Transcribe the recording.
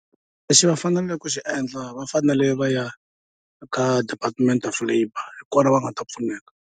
Lexi va faneleke ku xi endla va fanele va ya ka department of labour hi kona va nga ta pfuneka.